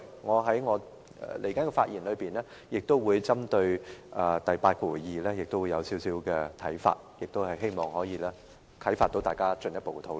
我以下的發言亦會針對第82條，提出一些看法，希望可以引發大家進一步討論。